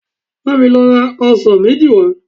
Bá mi lọ ra ọsàn méjì wá